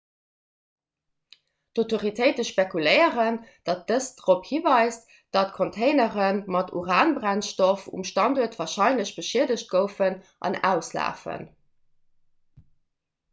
d'autoritéite spekuléieren datt dëst dorop hiweist datt containere mat uranbrennstoff um standuert warscheinlech beschiedegt goufen an auslafen